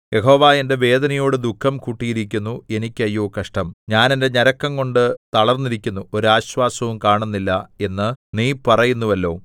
യഹോവ എന്റെ വേദനയോടു ദുഃഖം കൂട്ടിയിരിക്കുന്നു എനിക്ക് അയ്യോ കഷ്ടം ഞാൻ എന്റെ ഞരക്കംകൊണ്ടു തളർന്നിരിക്കുന്നു ഒരു ആശ്വാസവും കാണുന്നില്ല എന്ന് നീ പറയുന്നുവല്ലോ